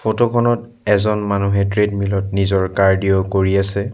Photo খনত এজন মানুহে ট্ৰেডমিল ত নিজৰ কাৰ্ডিঅ' কৰি আছে।